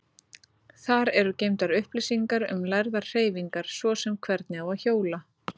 Þar eru geymdar upplýsingar um lærðar hreyfingar, svo sem hvernig á að hjóla.